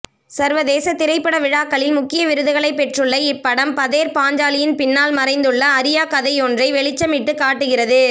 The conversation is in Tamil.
சர்வதேச திரைப்படவிழாக்களில் முக்கிய விருதுகளைப் பெற்றுள்ள இப்படம் பதேர் பாஞ்சாலியின் பின்னால் மறைந்துள்ள அறியாக்கதையொன்றை வெளிச்சமிட்டுக்காட்டுகிறது